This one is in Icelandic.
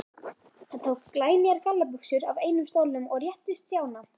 Hann tók glænýjar gallabuxur af einum stólnum og rétti Stjána.